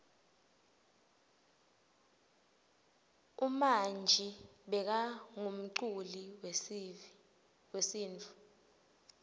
umanji bekangumculi wesintfu